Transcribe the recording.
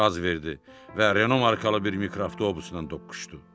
Qaz verdi və Renault markalı bir mikroavtobusla toqquşdu.